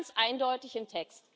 Das steht ganz eindeutig im Text.